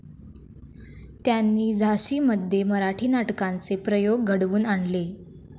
त्यांनी झाशीमध्ये मराठी नाटकांचे प्रयोग घडवून आणले.